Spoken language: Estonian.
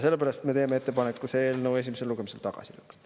Sellepärast me teeme ettepaneku see eelnõu esimesel lugemisel tagasi lükata.